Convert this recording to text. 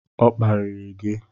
Ọ kparirị gị?